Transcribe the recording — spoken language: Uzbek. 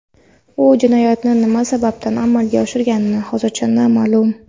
U jinoyatni nima sababdan amalga oshirgani hozircha noma’lum.